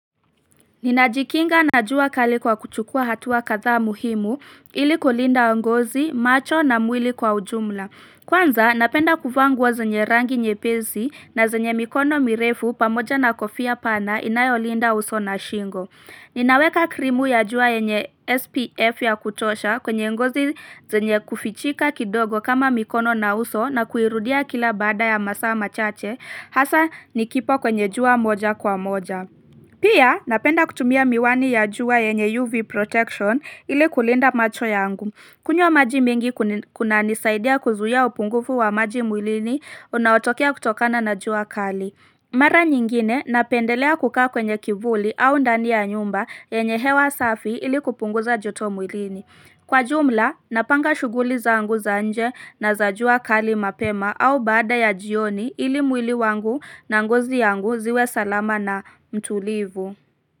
Ninajikinga na jua kali kwa kuchukua hatua kathaa muhimu ili kulinda ngozi, macho na mwili kwa ujumla. Kwanza napenda kuvaa nguo zenye rangi nyepesi na zenye mikono mirefu pamoja na kofia pana inayolinda uso na shingo. Ninaweka krimu ya jua yenye SPF ya kutosha kwenye ngozi zenye kufichika kidogo kama mikono na uso na kuirudia kila baada ya masaa machache hasa nikipo kwenye jua moja kwa moja. Pia napenda kutumia miwani ya jua yenye UV protection ili kulinda macho yangu. Kunywa maji mingi kunanisaidia kuzuiya upungufu wa maji mwilini, unaotokea kutokana na juwa kali. Mara nyingine napendelea kukaa kwenye kivuli au ndani ya nyumba yenye hewa safi ili kupunguza joto mwilini. Kwa jumla, napanga shuguli zangu za anje na zajua kali mapema au bada ya jioni ili mwili wangu na ngozi yangu ziwe salama na mtulivu.